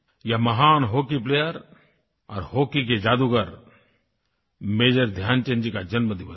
ये महान hockey player और हॉकी के जादूगर मेजर ध्यानचंद जी का जन्मदिवस है